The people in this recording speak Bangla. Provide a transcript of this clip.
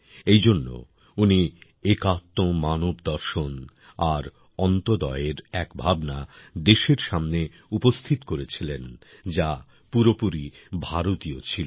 এই জন্য উনি একাত্ম মানবদর্শন আর অন্ত্যোদয়ের এক ভাবনা দেশের সামনে উপস্থিত করেছিলেন যা পুরোপুরি ভারতীয় ছিল